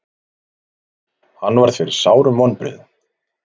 Hann varð fyrir sárum vonbrigðum.